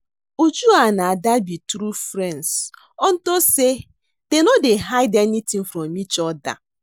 Uju and Ada be true friends unto say dey no dey hide anything from each other